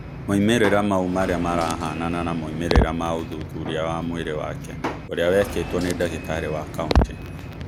Moimĩrĩra mau marĩa marahanana na moimĩrĩra ma ũthuthuria wa mwĩrĩ wake ũria wekĩtwo nĩ ndagĩtarĩ wa kaũntĩ.